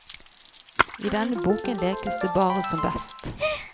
I denne boken lekes det bare som best.